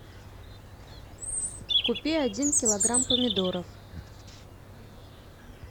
купи один килограмм помидоров